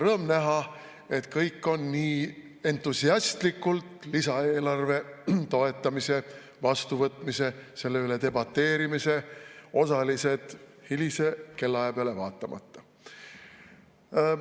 Rõõm näha, et kõik on nii entusiastlikult lisaeelarve toetamisel, vastuvõtmisel ja selle üle debateerimisel osalised, hilise kellaaja peale vaatamata.